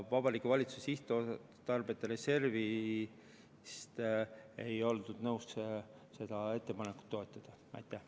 Vabariigi Valitsuse sihtotstarbeta reservist ei oldud nõus seda ettepanekut rahastama.